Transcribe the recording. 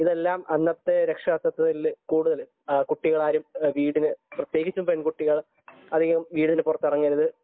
അന്നെല്ലാം രക്ഷാകർതൃത്വത്തിൽ കൂടുതലും കുട്ടികൾ ആരും പ്രത്യേകിച്ച് പെൺകുട്ടികൾ വീടിനു പുറത്തേക്ക് ഇറങ്ങരുത്